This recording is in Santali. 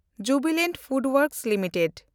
ᱡᱩᱵᱤᱞᱟᱱᱴ ᱯᱷᱩᱰᱳᱣᱮᱱᱰᱠ ᱞᱤᱢᱤᱴᱮᱰ